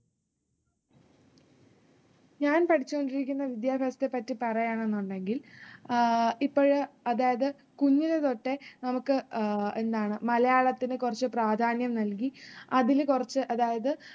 ഞാൻ പഠിച്ചുകൊണ്ടിരിക്കുന്ന വിദ്യാഭ്യാസത്തെ പറ്റി പറയണമെന്നുണ്ടെങ്കിൽ അഹ് ഇപ്പഴ് അതായത് കുഞ്ഞിലെതൊട്ട് നമുക്ക് അഹ് എന്താണ് മലയാളത്തിന് കുറച്ച് പ്രാധാന്യം നൽകി അതിലുകുറച്ച് അതായത്